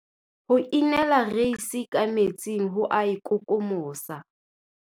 Ho inela reise ka metsing ho a e kokomosa.